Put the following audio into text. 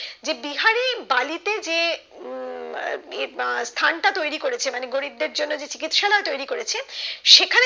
যে বিহারী বালি তে যে উম স্থানটা তৈরি করেছে মানে গরিব দের জন্য যে চিকিৎসালয় তৈরি করেছে